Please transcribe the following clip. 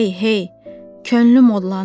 Hey, hey, könlüm odlanır.